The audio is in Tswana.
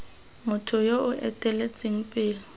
motho yo o eteletseng pele